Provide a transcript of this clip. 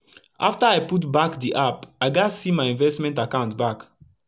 afta i put back d app i gats set my investment akant back